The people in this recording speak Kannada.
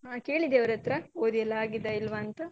ಹಾ ಕೇಳಿದ್ಯಾ ಅವ್ರಹತ್ರ ಓದಿಯಲ್ಲ ಆಗಿದಾ ಇಲ್ವಾ ಅಂತ?